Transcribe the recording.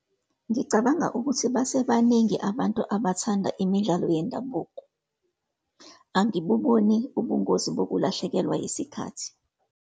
Ngicabanga ukuthi base baningi abantu abathanda imidlalo yendabuko. Angibuboni ubungozi bokulahlekelwa yisikhathi.